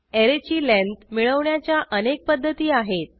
ऍरेची length मिळवण्याच्या अनेक पध्दती आहेत